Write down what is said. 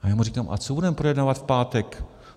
- A já mu říkám: a co budeme projednávat v pátek?